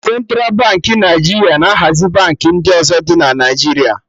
Centra Baankị Naijiria na hazi Baankị ndị ọzọ dị na Naijiria